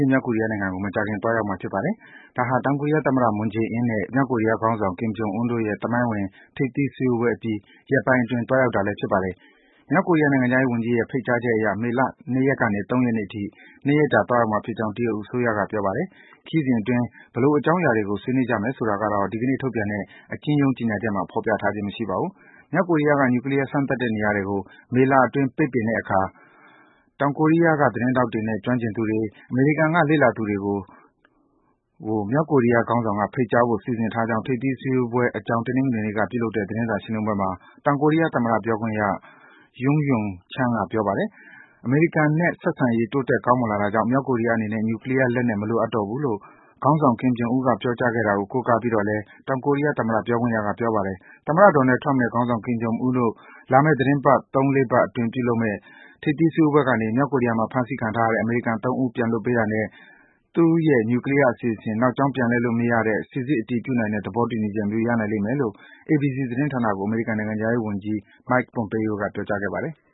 ျင်း မြောက်ကိုရီးယားနိုင်ငံကို မကြာခင် သွားရောက်မှာ ဖြစ်ပါတယ်။ ဒါဟာ တောင်ကိုရီးယား သမ္မတ Moon Jae-in နဲ့ မြောက်ကိုရီးယားခေါင်းဆောင် Kim Jong Un တို့ရဲ့ သမိုင်းဝင် ထိပ်သီး စည်းဝေးပွဲအပြီး ရက်ပိုင်းအတွင်း သွားရောက်တာ ဖြစ်ပါတယ်။ မြောက်ကိုရီးယား နိုင်ငံခြားရေးဝန်ကြီးရဲ့ ဖိတ်ကြားချက်အရ မေလ ၂ ရက်ကနေ ၃ ရက်နေ့အထိ ၂ ရက်ကြာ သွားရောက်မှာဖြစ်ကြောင်း တရုတ်အစိုးရက ပြောပါတယ်။ ခရီးစဉ်အတွင်း ဘယ်လိုအကြောင်းအရာတွေကို ဆွေးနွေးမယ်ဆိုတာကိုတော့ ဒီကနေ့ ထုတ်ပြန်တဲ့ အကျဉ်းရုန်း ကြေညာချက်မှာ ဖော်ပြထားခြင်း မရှိပါဘူး။ မြောက်ကိုရီးယားက နြူကလီးယား စမ်းသပ်တဲ့နေရာတွေကို မေလအတွင်း ပိတ်ပစ်တဲ့အခါ တောင်ကိုရီးယားက သတင်းထောက်တွေနဲ့ ကျွမ်းကျင်သူတွေ၊ အမေရိကန်က လေ့လာသူတွေကို မြောက်ကိုရီးယားခေါင်းဆောင်က ဖိတ်ကြားဖို့ စီစဉ်ထားကြောင်း ထိပ်သီး စည်းဝေးပွဲအကြောင်း တနင်္ဂနွေနေ့က ပြုလုပ်တဲ့ သတင်းစာရှင်းလင်းပွဲမှာ တောင်ကိုရီးယား သမ္မတ ပြောခွင့်ရ Yoon Young-chan က ပြောပါတယ်။ အမေရိကန်နဲ့ ဆက်ဆံရေး တိုးတက် ကောင်းမွန်လာတာကြောင့် မြောက်ကိုရီးုယားအနေနဲ့ နြူကလီးယား လက်နက် မလိုအပ်တော့ဘူးလို့ ခေါင်းဆောင် Kim Jong Un ပြောကြားခဲ့တာကို ကိုးကားပြီးတော့လည်း တောင်ကိုရီးယားသမ္မတက ပြန်လည်ပြောကြားခဲ့ပါတယ်။ သမ္မတ Donald Trump နဲ့ ခေါင်းဆောင် Kim Jong Un တို့ လာမယ့် သီတင်းပတ် ၃ - ၄ ပတ်အတွင်း ပြုလုပ်မယ့် ထိပ်သီး စည်းဝေးပွဲကနေ မြောက်ကိုရီးယားမှာ ဖမ်းဆီးခံထားရတဲ့ အမေရိကန်နိုင်ငံသား ၃ ဦး ပြန်လွတ်ပေးတာနဲ့ သူ့ရဲ့ နြူကလီးယား အစီအစဉ် နောက်ကြောင်း ပြန်လှည့်လို့ မရတဲ့၊ စိစစ် အတည်ပြုနိုင်တဲ့ သဘောတူညီချက်မျိုး ရနိုင်လိမ့်မယ်လို့ ABC သတင်းဌာနကို အမေရိကန် နိုင်ငံခြားရေးဝန်ကြီး Mike Pompeo က ပြောကြားခဲ့ပါတယ်။